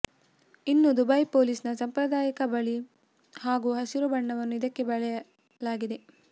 ಇನ್ನು ದುಬೈ ಪೊಲೀಸ್ನ ಸಂಪ್ರಾದಾಯಿಕ ಬಳಿ ಹಾಗೂ ಹಸಿರು ಬಣ್ಣವನ್ನು ಇದಕ್ಕೆ ಬಳಿಯಲಾಗಿದೆ